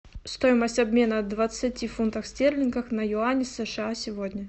стоимость обмена двадцати фунтов стерлингов на юани сша сегодня